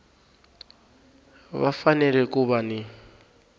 va fanele ku va ni